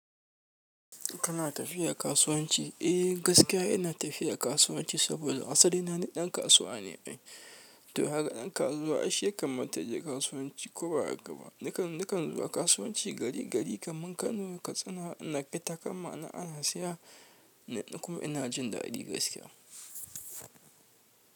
Kana tafiya kasuwanci? Eh gaskiya ina tafiya kasuwanci saboda asali na ni ɗan kasuwa ne. To haka ɗan kasuwa ai shi ya kamata ya je kasuwanci ko ba haka ba. Nakan, nakan zuwa kasuwanci gari gari kaman Kano, Katsina na fita kamar ana saya. Ni kuma ina jin daɗi gaskiya.